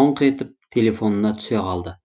тоңқ етіп телефонына түсе қалды